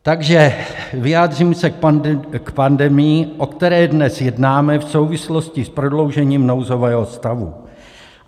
Takže vyjádřím se k pandemii, o které dnes jednáme v souvislosti s prodloužením nouzového stavu.